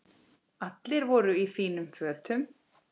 Allir voru í fínum fötum.